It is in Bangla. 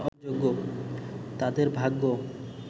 তাদের ভাগ্য